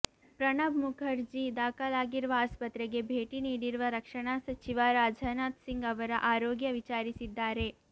ಪ್ರಣಬ್ ಮುಖರ್ಜಿ ದಾಖಲಾಗಿರುವ ಆಸ್ಪತ್ರೆಗೆ ಭೇಟಿ ನೀಡಿರುವ ರಕ್ಷಣಾ ಸಚಿವ ರಾಜನಾಥ್ ಸಿಂಗ್ ಅವರ ಆರೋಗ್ಯ ವಿಚಾರಿಸಿದ್ದಾರೆ